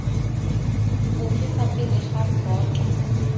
ofe fa pele ga boto